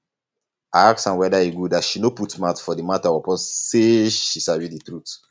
i ask am weda e good as she no put mouth for di mata upon sey she sabi di trut